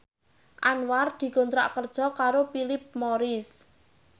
Anwar dikontrak kerja karo Philip Morris